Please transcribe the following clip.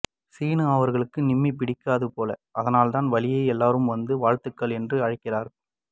சீனு அவர்களுக்கு நிம்மி பிடிக்காது போல அதனால் தான் வலிய எல்லோரும் வந்து வாழ்த்துங்கள் என்று அழைக்கிறார்